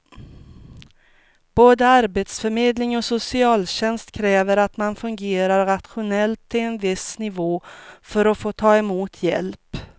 Både arbetsförmedling och socialtjänst kräver att man fungerar rationellt till en viss nivå för att få ta emot hjälp.